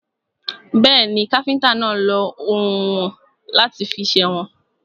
Bẹ́ẹ̀ni, káfíntà náà lọ oùnwọ̀n láti fi sèwọ̀n.